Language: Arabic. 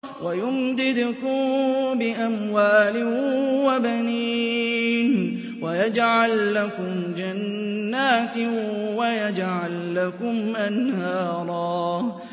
وَيُمْدِدْكُم بِأَمْوَالٍ وَبَنِينَ وَيَجْعَل لَّكُمْ جَنَّاتٍ وَيَجْعَل لَّكُمْ أَنْهَارًا